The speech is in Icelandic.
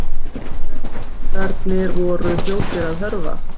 Norðlendingarnir voru fljótir að hörfa.